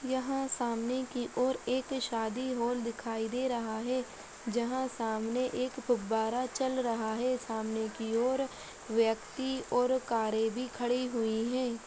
यह सामने की ओर एक शादी हॉल दिखाई दे रहा है जहाँ सामने एक फव्वारा चल रहा है सामने की ओर व्यक्ति और कारे भी खड़ी हुई हैं।